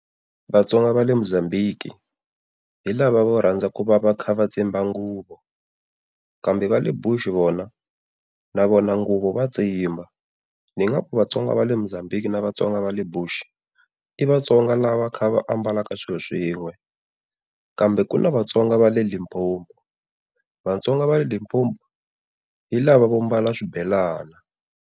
Vatsonga va le Mozambique, hi lava vo rhandza ku va va kha va tsimba nguvu. Kambe va le Bush vona na vona nguvo va tsimba. Ningaku Vatsonga va le Mozambique na Vatsonga va le bush i Vatsonga lava kha va ambalaka swilo swin'we. Kambe ku na Vatsonga va le Limpopo Vatsonga va le Limpopo hi lava vo mbala swibelana.